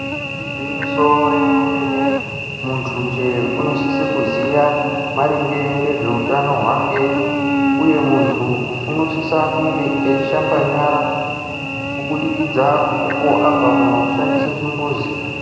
Igwinyiso re mene mene muntu nje unosise kuziya maringe ngezve utano hwake uye muntu uno sisa kunge eishamba nyara ubudikidza uko abve kuno shandisa chimbudzi.